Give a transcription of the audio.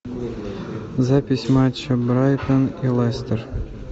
запись матча брайтон и лестер